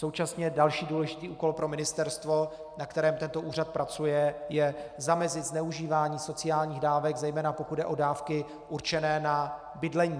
Současně další důležitý úkol pro ministerstvo, na kterém tento úřad pracuje, je zamezit zneužívání sociálních dávek, zejména pokud jde o dávky určené na bydlení.